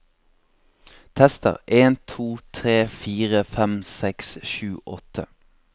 Tester en to tre fire fem seks sju åtte